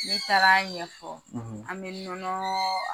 Me taga ɲɛfɔ an bɛ nɔnɔ